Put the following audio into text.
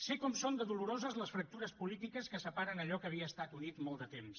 sé com són de doloroses les fractures polítiques que separen allò que havia estat unit molt de temps